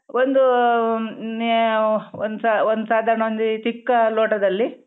ಒಂದೂ ನಾ ಒಂದ್ ಸ ಒಂದ್ ಸದಾರ್ಣ ಒಂದ್ ಈ ಚಿಕ್ಕ ಲೋಟದಲ್ಲಿ.